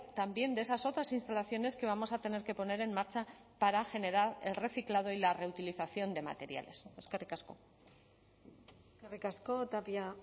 también de esas otras instalaciones que vamos a tener que poner en marcha para generar el reciclado y la reutilización de materiales eskerrik asko eskerrik asko tapia